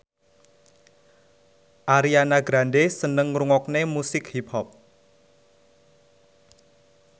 Ariana Grande seneng ngrungokne musik hip hop